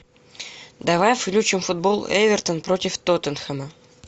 давай включим футбол эвертон против тоттенхэма